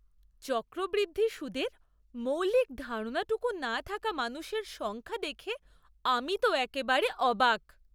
চক্রবৃদ্ধি সুদের মৌলিক ধারণাটুকু না থাকা মানুষের সংখ্যা দেখে আমি তো একেবারে অবাক।